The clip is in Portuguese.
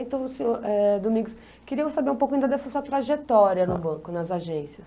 Então, senhor eh, Domingos, queria saber um pouco ainda dessa sua trajetória no banco, nas agências.